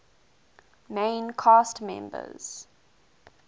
main cast members